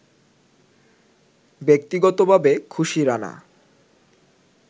ব্যক্তিগতভাবে খুশি রানা